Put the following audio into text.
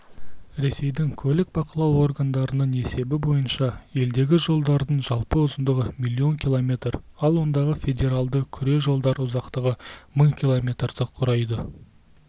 ресейдің көлік бақылау органының есебі бойынша елдегі жолдардың жалпы ұзындығы миллион километр ал ондағы федералды күре жолдар ұзақтығы мың киллометрді құрайды